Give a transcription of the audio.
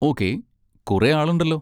Okay, കുറെ ആളുണ്ടല്ലോ.